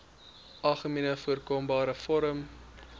algemeenste voorkombare vorm